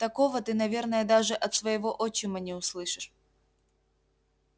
такого ты наверное даже от своего отчима не услышишь